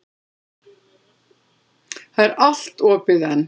Það er allt opið enn.